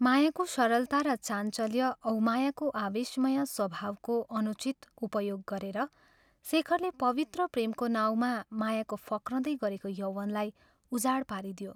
मायाको सरलता र चाञ्चल्य औ मायाको आवेशमय स्वभावको अनुचित उपयोग गरेर शेखरले पवित्र प्रेमको नाउँमा मायाको फक्रदै गरेको यौवनलाई उजाड पारिदियो।